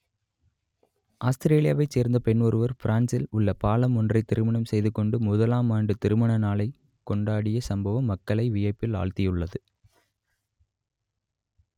ஆஸ்திரேலியாவை சேர்ந்த பெண் ஒருவர் பிரான்ஸில் உள்ள பாலம் ஒன்றை திருமணம் செய்து கொண்டு முதலாம் ஆண்டு திருமண நாளை கொண்டாடிய சம்பவம் மக்களை வியப்பில் ஆழ்த்தியுள்ளது